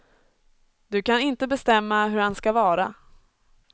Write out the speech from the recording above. Du kan inte bestämma hur han ska vara.